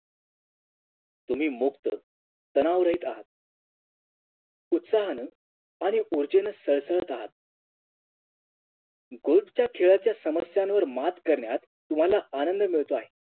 तुम्ही मुक्त तणावरहित आहात उत्साहानं आणि ऊर्जेने सळसळत आहात Golf च्या खेळांच्या समस्यांवर मात करण्यात तुम्हाला आनंद मिळतो आहे